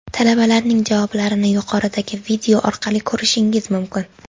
Talabalarning javoblarini yuqoridagi video orqali ko‘rishingiz mumkin.